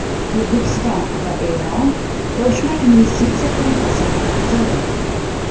O‘zbekiston va Eron qo‘shma investitsiya qo‘mitasini tuzadi.